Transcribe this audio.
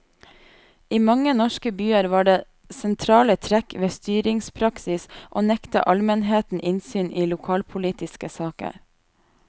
I mange norske byer var det sentrale trekk ved styringspraksis å nekte almenheten innsyn i lokalpolitiske saker.